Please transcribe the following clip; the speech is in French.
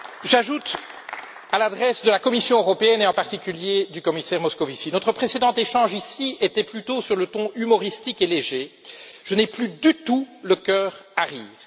J'ajoute à l'intention de la Commission européenne et, en particulier, du commissaire Moscovici notre précédent échange ici était plutôt sur un ton humoristique et léger que je n'ai plus du tout le cœur à rire.